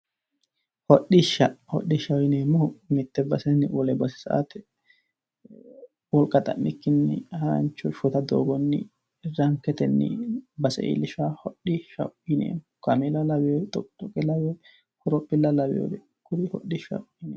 Hodishsha, hodhishshaho yineemmohu mite basenni wole base sa"ate wolqa xa'mikkinni harancho shota doogonni ranketenni base iillishanoha hodhishshaho yineemmo kaamela lawinore, xoqixoqe lawinore, horophilla lawinore kuri hodhishshaho yineemmo.